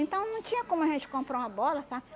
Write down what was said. Então não tinha como a gente comprar uma bola, sabe?